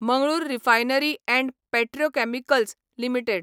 Mangalore refinery and petrochemicals limited